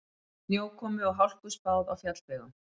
Snjókomu og hálku spáð á fjallvegum